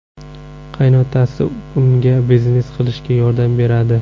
Qaynotasi unga biznes qilishga yordam beradi.